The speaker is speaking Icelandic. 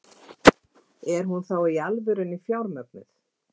Er hún þá í alvörunni fjármögnuð?